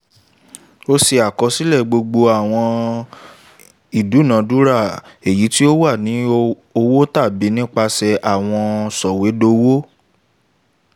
ó se àkosílè gbogbo àwọn ìdúnadúrà èyí tí ówà ní owó tàbí nípasè àwọn sòwédowó